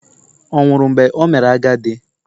Ọ̀ nwụrụ mgbe o mere agadi?